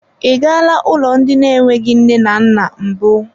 I galaa ụlọ ndị na-enweghị nne na nna mbụ.